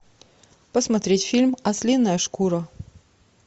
посмотреть фильм ослиная шкура